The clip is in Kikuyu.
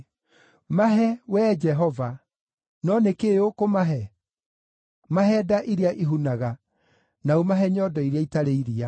Mahe, Wee Jehova; no nĩ kĩĩ ũkũmahe? Mahe nda iria ihunaga, na ũmahe nyondo iria itarĩ iria.